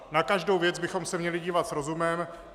Na každou věc bychom se měli dívat s rozumem.